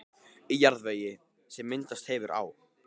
Í jarðvegi, sem myndast hefur á